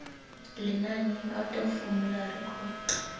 lenaneng out of formulary co